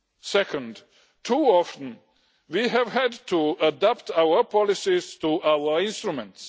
Second, too often we have had to adapt our policies to our instruments.